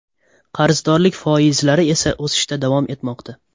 Qarzdorlik foizlari esa o‘sishda davom etmoqda.